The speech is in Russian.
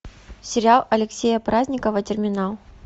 сериал алексея праздникова терминал